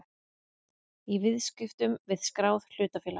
í viðskiptum við skráð hlutafélag.